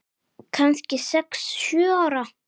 Kannski sex, sjö ára.